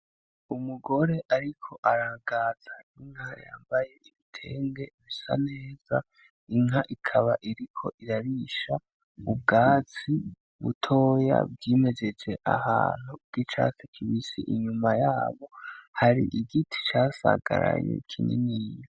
Umugore ariko aragaza inka yambaye igitenge gisa neza, inka ikaba iriko irarisha ubwatsi butoya bwimejeje ahantu bw'icatsi kibisi inyuma yabo hari igiti casagaraye kininiya.